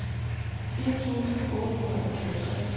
firs tusind otte hundrede og toogtres